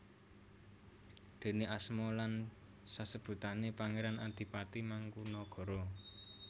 Déne asma lan sasebutané Pangéran Adipati Mangkunagara